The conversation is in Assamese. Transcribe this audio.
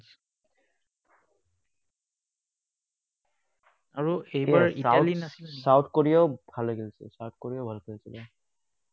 আৰু South Korea ও ভালেই খেলিছে, South Korea ও ভাল খেলিছিলে।